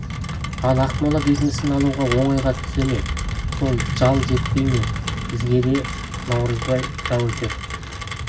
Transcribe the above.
ал ақмола бекінісін алу оңайға түсе ме сол жал жетпей ме бізге деді наурызбай жау өтер